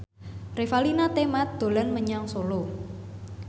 Revalina Temat dolan menyang Solo